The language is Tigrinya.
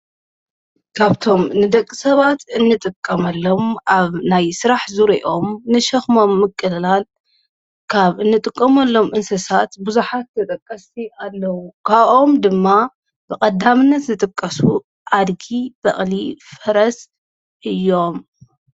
ካብቶም ንደቂ ሰባት እንጥቀመሎም ኣብ ናይ ሥራሕ ዙረኦም ንሸኽሞም ምቅላል ካብ እንጥቀሙ ኣሎም እንስሳት ብዙኃት ተጠቀሲ ኣለዉ ካኦም ድማ ብቐዳምነት ዝጥቀሱ ኣድጊ በቕሊ ፈረስ እዮም::